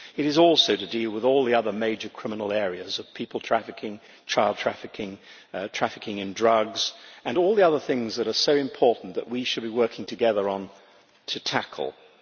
it is also dealing with all the other major criminal areas people trafficking, child trafficking, trafficking in drugs, and all the other things that are so important that we should be working together to tackle them.